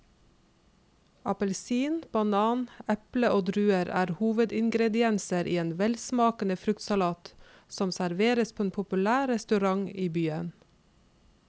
Appelsin, banan, eple og druer er hovedingredienser i en velsmakende fruktsalat som serveres på en populær restaurant i byen.